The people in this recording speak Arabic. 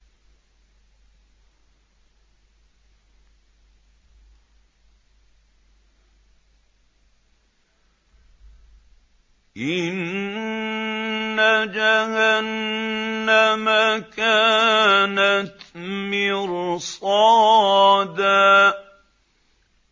إِنَّ جَهَنَّمَ كَانَتْ مِرْصَادًا